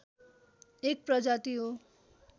एक प्रजाति हो